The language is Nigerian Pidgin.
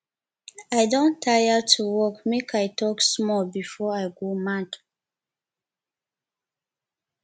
i don tire to work make i talk small before i go mad